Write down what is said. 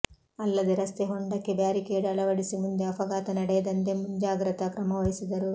ಅಲ್ಲದೆ ರಸ್ತೆ ಹೊಂಡಕ್ಕೆ ಬ್ಯಾರಿಕೇಡ್ ಅಳವಡಿಸಿ ಮುಂದೆ ಅಪಘಾತ ನಡೆಯದಂತೆ ಮುಂಜಾಗ್ರತಾ ಕ್ರಮವಹಿಸಿದರು